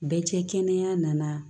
Bɛɛ cɛ kɛnɛya nana